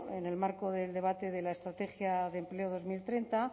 en el marco del debate de la estrategia de empleo dos mil treinta